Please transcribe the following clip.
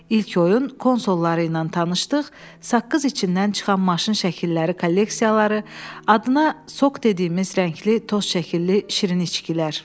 İlk oyun konsolları ilə tanışdıq, saqqız içindən çıxan maşın şəkilləri kolleksiyaları, adına sok dediyimiz rəngli toz şəkilli şirin içkilər.